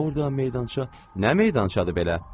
Orda meydança, nə meydançadır belə?